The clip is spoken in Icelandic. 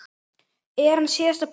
Er hann síðasta púslið?